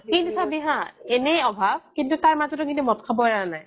কিন্তু চাবি হা এনেই অভাৱ কিন্তু তাৰ মাজতো কিন্তু মদ খাব এৰা নাই